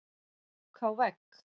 Ók á vegg